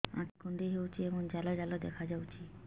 ଆଖି କୁଣ୍ଡେଇ ହେଉଛି ଏବଂ ଜାଲ ଜାଲ ଦେଖାଯାଉଛି